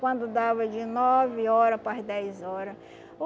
Quando dava de nove hora para as dez hora,